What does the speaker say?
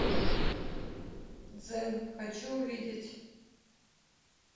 дзен хочу увидеть